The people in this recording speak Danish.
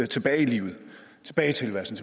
tilbage i livet og tilværelsen